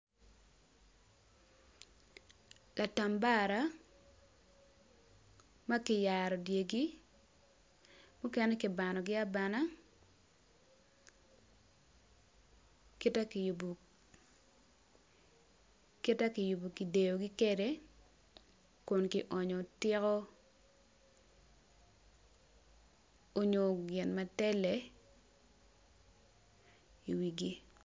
Latambara ma kiyaro dyegi mukene kibanogi abana kita kiyubo kita kiyubo kideyogi kwede kun kionyo tika onyo gin ma tele i wigi.